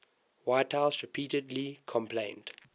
whitehouse repeatedly complained